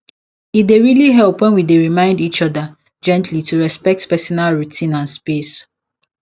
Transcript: e dey really help when we dey remind each other gently to respect personal routine and space